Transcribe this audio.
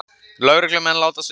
Lögreglumenn látast í sprengingu